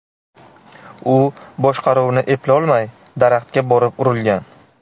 U boshqaruvni eplolmay daraxtga borib urilgan.